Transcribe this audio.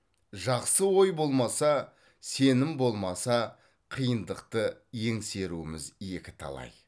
жақсы ой болмаса сенім болмаса қиындықты еңсеруіміз екіталай